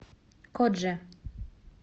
кодже